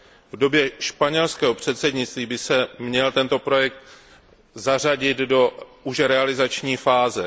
V době španělského předsednictví by se měl tento projekt zařadit už do realizační fáze.